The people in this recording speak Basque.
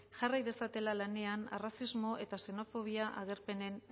jarrai dezatela lanean arrazismo eta xenofobia agerpenen